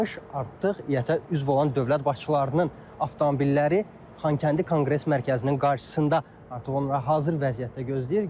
Artıq İƏT-ə üzv olan dövlət başçılarının avtomobilləri Xankəndi Konqres Mərkəzinin qarşısında artıq onlara hazır vəziyyətdə gözləyir.